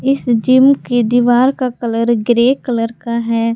इस जिम की दीवार का कलर ग्रे कलर का है।